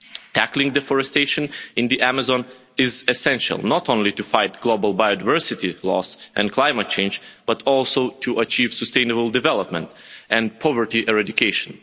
Tackling deforestation in the Amazon is essential not only to fight global biodiversity loss and climate change, but also to achieve sustainable development and poverty eradication.